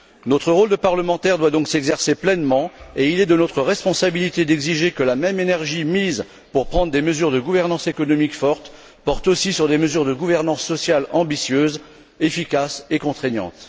Notre rôle de parlementaires doit donc s'exercer pleinement et il est de notre responsabilité d'exiger que la même énergie consacrée à prendre des mesures de gouvernance économique fortes porte aussi sur des mesures de gouvernance sociale ambitieuses, efficaces et contraignantes.